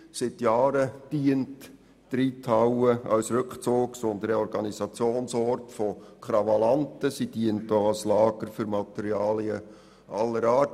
Seit Jahren dient die Reithalle als Rückzugs- und Reorganisationsort von Krawallanten und auch als Lager für Materialien aller Art.